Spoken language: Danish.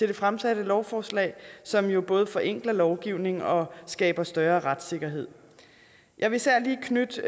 det fremsatte lovforslag som jo både forenkler lovgivning og skaber større retssikkerhed jeg vil især lige knytte